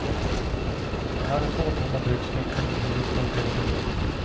Han hade två tomma byxfickor men huvudet fullt av idéer.